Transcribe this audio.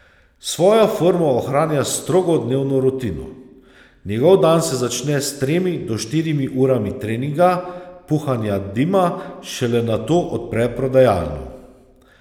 Svojo formo ohranja s strogo dnevno rutino, njegov dan se začne s tremi do štirimi urami treninga puhanja dima, šele nato odpre prodajalno.